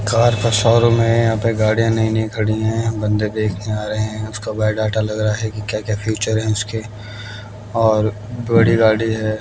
Car का showroom है यहां पर गाड़ियां नई नई खड़ी है बंदे देखने आ रहे हैं उसका बायोडाटा लगा है की क्या क्या फ्यूचर है उसके और बड़ी गाड़ी है।